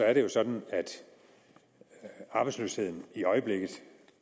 er det jo sådan at arbejdsløsheden i øjeblikket